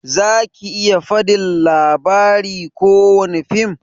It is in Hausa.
Zaki iya fadin labari kowani fim?